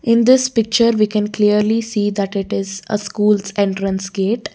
in this picture we can clearly see that it is a schools entrance gate.